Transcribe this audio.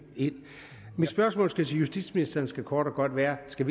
mit spørgsmål til justitsministeren skal kort og godt være skal